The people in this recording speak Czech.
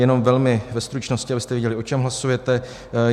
Jenom velmi ve stručnosti, abyste věděli, o čem hlasujete.